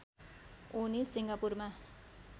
उनी सिङ्गापुरमा